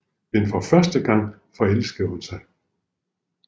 Men for første gang forelsker hun sig